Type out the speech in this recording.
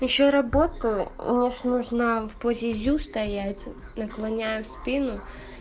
ищу работу мне же нужно в позе зю стоять наклоняю спину